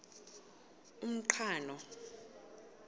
umqhano